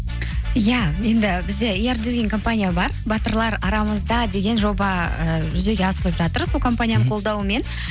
иә енді бізде компания бар батырлар арамызда деген жоба ыыы жүзеге асырылып жатыр сол компанияның қолдауымен